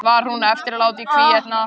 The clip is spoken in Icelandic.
Var hún honum eftirlát í hvívetna.